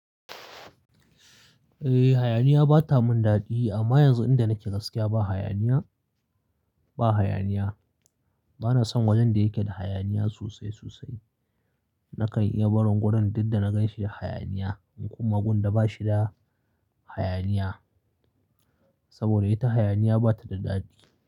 Eh hayaniya bata mun daɗi amma yanzu inda nake gaskiya ba hayaniya, ba hayaniya. Bana son wajen da yake da hayaniya sosai sosai. Nakan iya barin wurin duk da na gan shi da hayaniya in kuma gun da ba shi da hayaniya. Saboda ita hayaniya bata da daɗi.